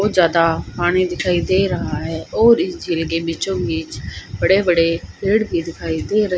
बहुत ज्यादा पानी दिखाई दे रहा है और इस झील के बीचों बीच बड़े बड़े पेड़ भी दिखाई दे रहे--